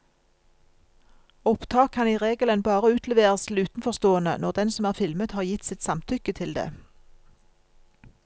Opptak kan i regelen bare utleveres til utenforstående når den som er filmet har gitt sitt samtykke til det.